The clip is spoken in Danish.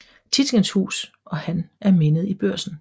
Tietgens Hus og han er mindet i Børsen